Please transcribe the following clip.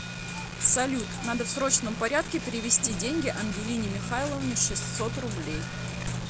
салют надо в срочном порядке перевести деньги ангелине михайловне шестьсот рублей